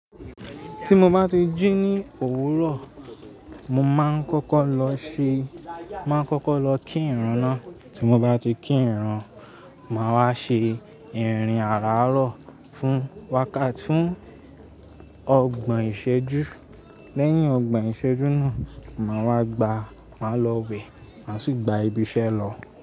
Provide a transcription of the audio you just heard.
Tí mo bá ti jí ní òwúrọ̀, mo máa ń kọ́kọ́ lọ ṣe, máa ń kọ́kọ́ lọ kí ìrun náà. Tí mo bá ti kí ìran, màá wá ṣe ìrìn àràárọ̀ fún wákàt, fún ọgbà ìṣẹ́jú. Lẹ́yìn ọgbà ìṣẹ́jú náà, màá wá gbá, màá lọ wẹ̀, màá sì gba ibi iṣẹ́ lọ.